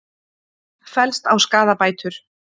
Fellst á skaðabætur